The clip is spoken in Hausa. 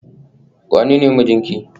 wanene mijinki?